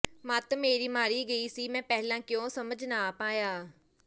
ਮੱਤ ਮੇਰੀ ਮਾਰੀ ਗਈ ਸੀ ਮੈਂ ਪਹਿਲਾਂ ਕਿਉਂ ਸਮਝ ਨਾ ਪਾਇਆ